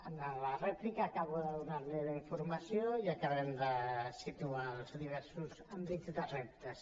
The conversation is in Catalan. en la rèplica acabo de donar li la informació i acabem de situar els diversos àmbits de reptes